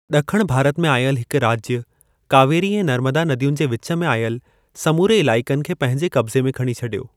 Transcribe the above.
ॾखण भारत में आयल हिक राज्य, कावेरी ऐं नर्मदा नदियुनि जे विच में आयल समूरे इलाइकनि खे पंहिंजे कब्ज़े में खणी छॾियो।